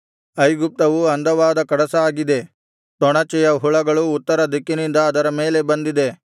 ಐಗುಪ್ತವು ಅಂದವಾದ ಕಡಸಾಗಿದೆ ತೊಣಚೆಯ ಹುಳಗಳು ಉತ್ತರ ದಿಕ್ಕಿನಿಂದ ಅದರ ಮೇಲೆ ಬಂದಿದೆ